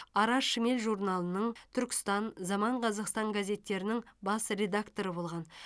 ара шмель журналының түркістан заман қазақстан газеттерінің бас редакторы болған